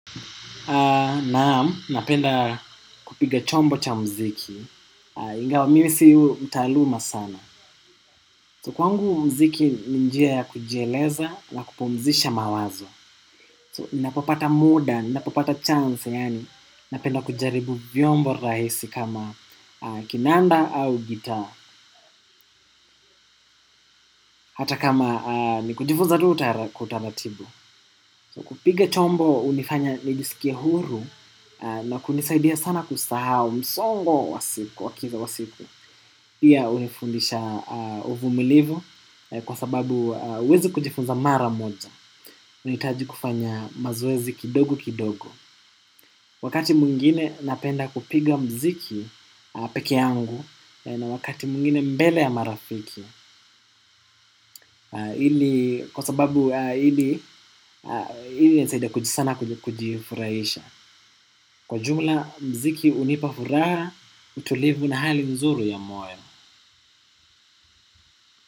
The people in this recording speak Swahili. Naam, napenda kupiga chombo cha mziki ingaw, mimi si mtaaluma sana So, kwangu mziki ni njia ya kujieleza na kupumzisha mawazo So, ninapopata muda, ninapopata chance, yaani napenda kujaribu vyombo rahisi kama kinanda au gitaa. Hata kama nikujifunza tu kwa utaratibu So, kupiga chombo hunifanya nijisikie huru. Na kunisaidia sana kusahau msongo wa siku wa kiza wa siku pia hunifundisha uvumilivu kwa sababu huezi kujifunza mara moja. Unahitaji kufanya mazoezi kidogo kidogo. Wakati mwingine napenda kupiga mziki peke yangu na wakati mwingine mbele ya marafiki. Kwa sababu ili inisaidie sana kujifurahisha. Kwa jumla mziki hunipa furaha, utulivu na hali nzuri ya moye.